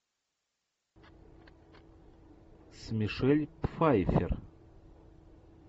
с мишель пфайффер